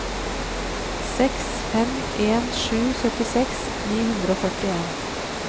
seks fem en sju syttiseks ni hundre og førtien